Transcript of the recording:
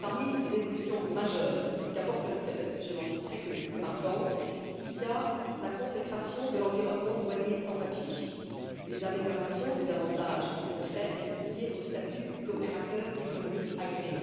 Parmi les évolutions majeures qu'apporte le texte je ne citerai que les plus marquantes figurent la consécration de l'environnement douanier sans papier, les améliorations des avantages concrets liés au statut d'opérateurs économiques agréés,